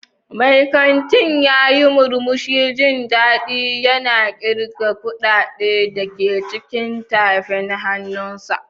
Mai kanti ya yi murmushin jin daɗi yana ƙirga kuɗaɗen da ke cikin tafin hannunsa.